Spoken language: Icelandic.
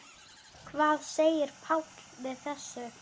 Hvað segir Páll við þessu?